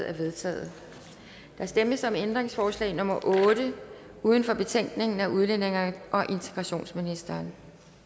er vedtaget der stemmes om ændringsforslag nummer otte uden for betænkningen af udlændinge og integrationsministeren